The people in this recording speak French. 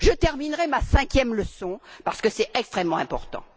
Je terminerais par ma cinquième leçon, parce que c'est extrêmement important.